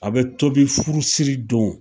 A bɛ tobi furusiri don